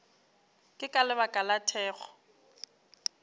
ke ka lebaka la thekgo